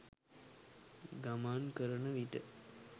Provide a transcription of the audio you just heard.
ගමන් කරන විට